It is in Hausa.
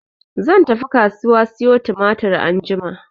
Zan tafi kasuwa siyo tumatir anjima.